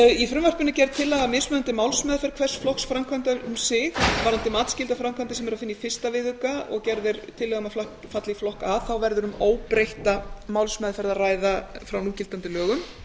í frumvarpinu er gerð tillaga um mismunandi málsmeðferð hvers flokks framkvæmda um sig varðandi matsskyldar framkvæmdir sem er að finna í fyrsta viðauka og gerð er tillaga um að falli í flokk a þá verður um óbreytta málsmeðferð að ræða frá núgildandi lögum